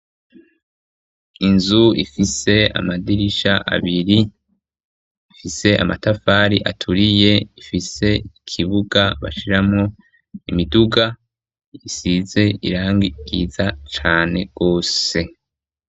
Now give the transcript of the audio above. Inzu ifise amadirisha abiri ifise amatafari aturiye ifise ikibuga bashiramo imiduga isize irangi ryiza cane rwose.